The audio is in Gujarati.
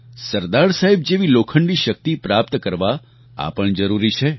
સરદાર સાહેબ જેવી લોખંડી શક્તિ પ્રાપ્ત કરવા આ પણ જરૂરી છે